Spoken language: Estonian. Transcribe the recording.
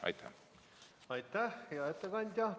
Aitäh, hea ettekandja!